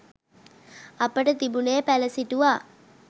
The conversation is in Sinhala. අපට තිබුණේ පැළ සිටුවා